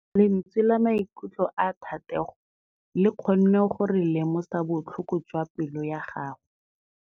Lentswe la maikutlo a Thategô le kgonne gore re lemosa botlhoko jwa pelô ya gagwe.